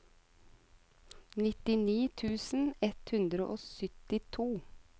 nittini tusen ett hundre og syttito